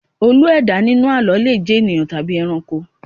Olú - ẹ̀dá inú àlọ́ le jẹ ènìyàn tàbí ẹranko